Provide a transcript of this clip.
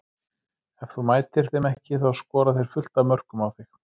Ef þú mætir þeim ekki þá skora þeir fullt af mörkum á þig.